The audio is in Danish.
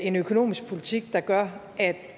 en økonomisk politik der gør at